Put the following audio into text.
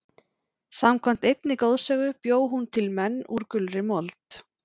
samkvæmt einni goðsögu bjó hún til menn úr gulri mold